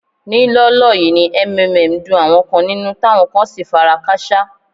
Ní lọ́ọ́lọ́ yìí ni MMM dun àwọn kan nínú táwọn kan sì fara káṣá.